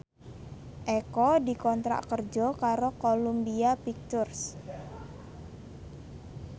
Eko dikontrak kerja karo Columbia Pictures